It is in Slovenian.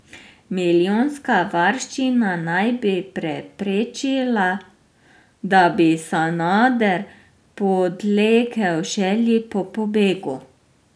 Milijonska varščina naj bi preprečila, da bi Sanader podlegel želji po pobegu.